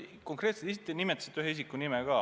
Ta nimetasite ühe isiku nime ka.